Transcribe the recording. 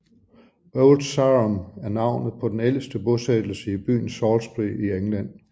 Old Sarum er navnet på den ældste bosættelse i byen Salisbury i England